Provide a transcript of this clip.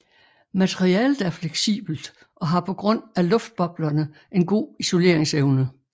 Materialet er fleksibelt og har på grund af luftboblerne en god isoleringsevne